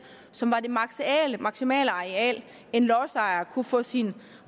som var det maksimale maksimale areal en lodsejer kunne få sin